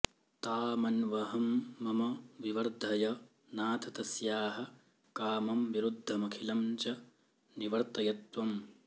तामन्वहं मम विवर्धय नाथ तस्याः कामं विरुद्धमखिलं च निवर्तयत्वम्